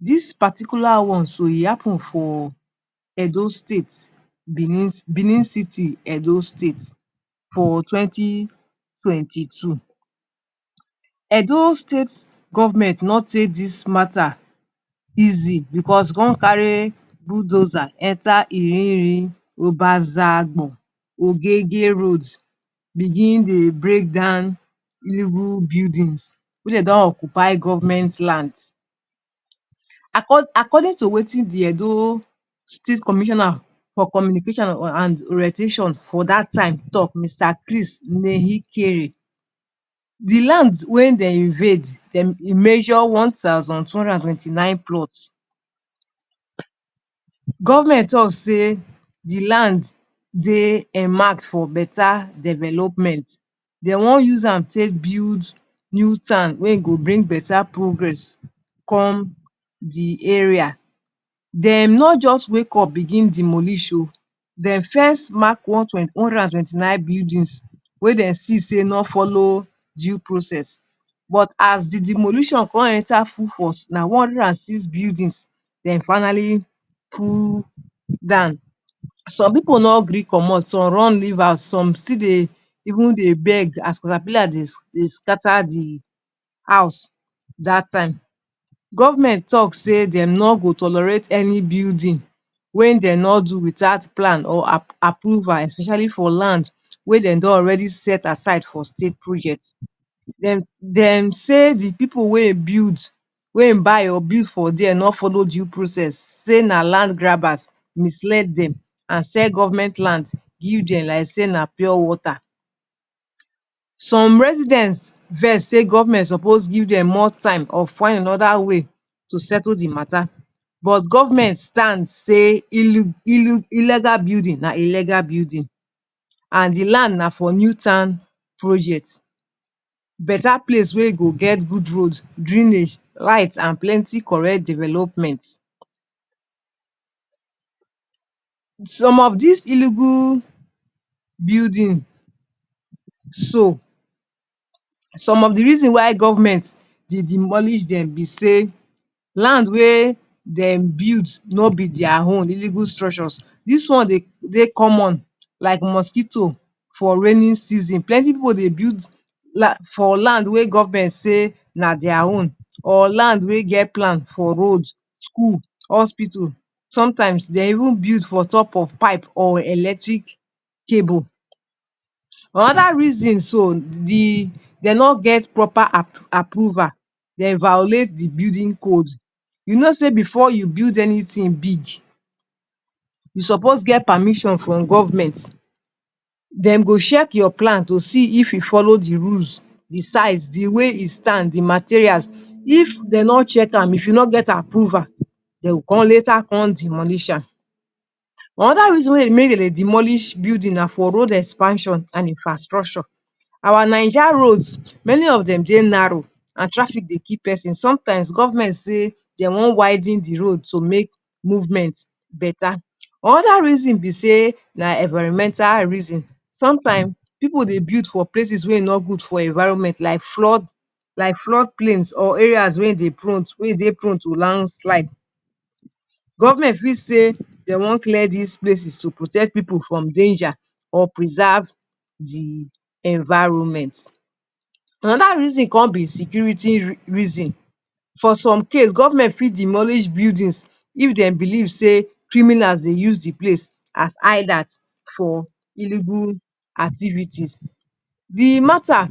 Dis particular one so, e happen for Edo state, Benin? Benin city, Edo state for twenty, twenty two. Edo state government no take dis matter easy because he come carry bulldozer enter? road, begin dey break down illegal buildings wey dey don occupy government land. Accord, according to wetin de Edo state commissioner for communication and orientation for dat time talk; Mr. Chris?, de land wey dem invade dem measure one thousand two hundred and twenty nine plots. Government talk say de land dey enmarked for better development. Dey wan use am build new town wen e go bring better progress come de area. Dem no just wake up begin demolish oo, dem first mark one? one hundred and twenty nine buildings wey dem see sey no follow due process but as de demolition come enter full force, na one hundred and six buildings dem finally pull down. Some pipu no gree comot, some run leave house, some still dey even dey beg as caterpillar dey dey scatter de house dat time. Government talk sey dem no go tolerate any building wey dem no do without plan or? approval especially for land wey dem don already set aside for state project. Dem dem say de pipu wey e build, wey e buy or build for there no follow due process. Say na land grabbers misled dem and sell government land give dem like sey na pure water. Some residence vex say government suppose give dem more time of finding another way to settle de matter. But government stand say? illegal building na illegal building and de land na for new town project; better place wey go get new roads, drainage, light and plenty correct development. Some of dis illegal building so, some of de reason why government dey demolish dem be sey land wey dem build no be their own, illegal structures. Dis one dey dey common like mosquito for raining season. Plenty pipu dey build land for land wey government say na their own or land wey get plan for road, school, hospital. Sometimes dey even build for top of pipe or electric cable. Another reason so, de dey no get proper? approval, dey violate de building code. You know sey before you build anything big, you suppose get permission from government. Dem go check your plan to see if e follow de rules, de size, de way e stand, de materials. If dey no check am, if you no get approval, dey will con later come demolish am. Another reason wey make dem demolish building na for road expansion and infrastructure. Our Naija roads, many of dem dey narrow and traffic dey kill person. Sometimes government say dey wan widen de road to make movement better. Another reason be sey na environmental reason. Sometime pipu dey build for places wey e no good for environment like flood like flood plains or area wey e dey prone, wey e dey prone to land slide. Government fit say dey wan clear dis places to protect pipu from danger or preserve de environment. Another reason come be security? reason. For some case government fit demolish buildings if dem believe sey criminals dey use de place as hideout for illegal activities. De matter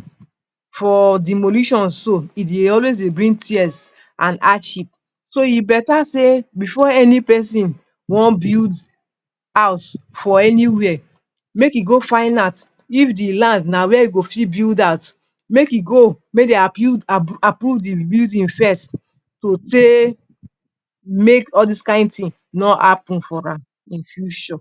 for demolition so, e dey always dey bring tears and hardship so e better sey before any person wan build house for anywhere, make e go find out if de land na where e go fit build house, make e go make dey? approve de building first to take make all dis kain thing no happen for am in future.